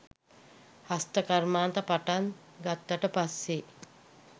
හස්ත කර්මාන්ත පටන් ගත්තට පස්සෙ